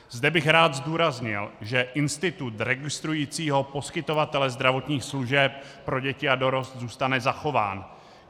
Zde bych rád zdůraznil, že institut registrující poskytovatele zdravotních služeb pro děti a dorost zůstane zachován.